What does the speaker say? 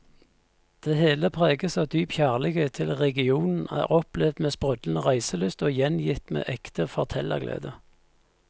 Det hele preges av dyp kjærlighet til regionen, er opplevd med sprudlende reiselyst og gjengitt med ekte fortellerglede.